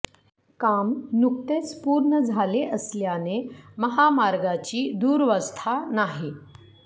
काम नुकतेच पूर्ण झाले असल्याने महामार्गाची दुरवस्था नाही